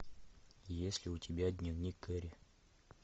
есть ли у тебя дневник керри